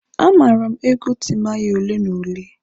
Amaara m egwu Timaya ole na ole.